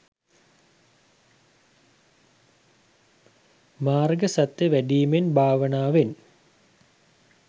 මාර්ග සත්‍ය වැඩීමෙන් භාවනාවෙන්